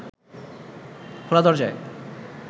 খোলা দরজায়